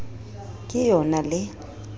ke e o na le